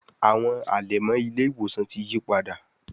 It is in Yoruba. Àwọn alẹmọ ile-iwosan tí yípadà